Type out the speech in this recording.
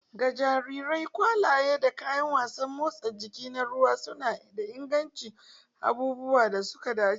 Ga jarirai, ƙwallaye da kayan wasan motsa jiki na ruwa suna inganta abubuwan da suka dace.